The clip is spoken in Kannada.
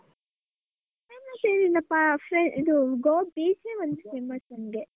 Famous ಏನ್ ಇಲ್ಲಪ್ಪ free ಇದು Goa beach ಒಂದ್ famous ಅಂದ್ರೆ.